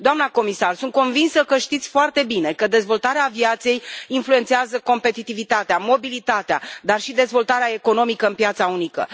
Doamna comisar, sunt convinsă că știți foarte bine că dezvoltarea aviației influențează competitivitatea, mobilitatea, dar și dezvoltarea economică în piața unică.